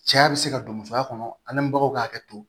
Cɛya bɛ se ka don musoya kɔnɔ ani baw ka hakɛ to